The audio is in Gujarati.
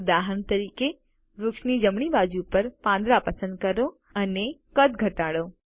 ઉદાહરણ તરીકે વૃક્ષની જમણી બાજુ પર પાંદડા પસંદ કરો અને કદ ઘટાડો